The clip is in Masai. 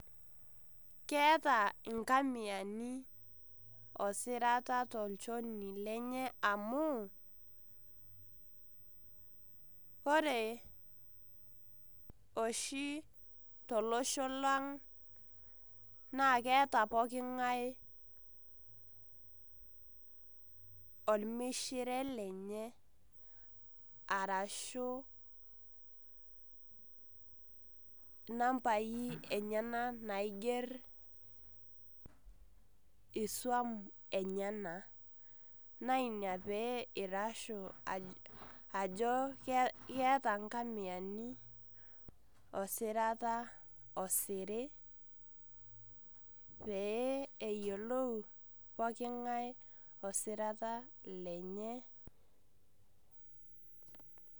Keeta inkamiani osirata tolchoni lenye amu, ore oshi tolosho lang na keeta pooking'ae ormishire lenye, arashu inambai enyanak naiger isuam enyanak. Na ina pee airashu ajo keeta nkamiani osirata osiri, pee eyiolou pooking'ae osirata lenye.